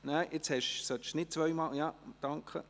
– Nein, Sie sollten nicht zweimal drücken.